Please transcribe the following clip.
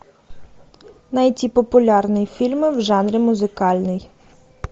найти популярные фильмы в жанре музыкальный